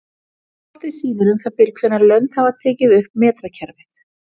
Kortið sýnir um það bil hvenær lönd hafa tekið upp metrakerfið.